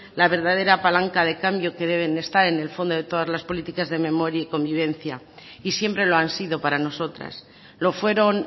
la verdadera palanca de cambio que debe de estar en el fondo de todas las políticas de memoria y convivencia y siempre lo han sido para nosotras lo fueron